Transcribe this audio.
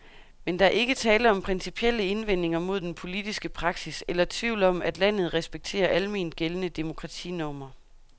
Men der er ikke tale om principielle indvendinger mod den politiske praksis eller tvivl om, at landet respekterer alment gældende demokratinormer.